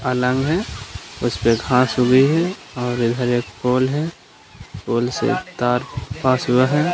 है उसपे घास उगी है और इधर एक पोल है पोल से तार पास हुआ है।